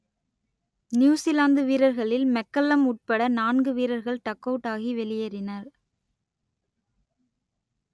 New Zealand வீரர்களில் McCullum உட்பட நான்கு வீரர்கள் டக் அவுட் ஆகி வெளியேறினர்